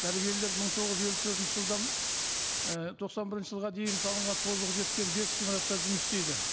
дәрігерлер мың тоғыз жүз елу төртінші жылдан і тоқсан бірінші жылға дейін салынған тозығы жеткен бес ғимаратта жұмыс істейді